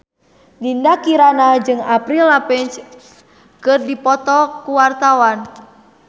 Dinda Kirana jeung Avril Lavigne keur dipoto ku wartawan